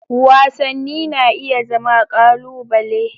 Wasanni na iya zama ƙalubale.